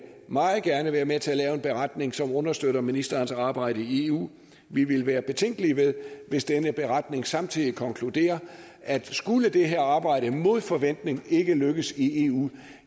meget gerne være med til at lave en beretning som understøtter ministerens arbejde i eu vi vil være betænkelige hvis denne beretning samtidig konkluderer at skulle det her arbejde mod forventning ikke lykkes i eu